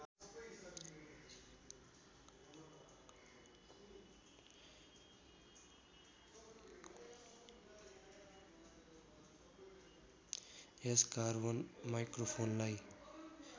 यस carbon माइक्रोफोनलाई